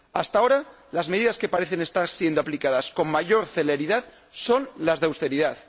Hasta ahora las medidas que parecen estar siendo aplicadas con mayor celeridad son las de auteridad.